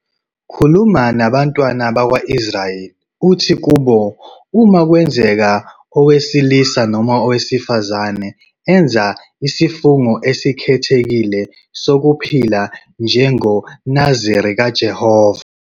2 "Khuluma nabantwana bakwa-Israyeli uthi kubo, 'Uma kwenzeka owesilisa noma owesifazane enza isifungo esikhethekile sokuphila njengomNaziri kuJehova,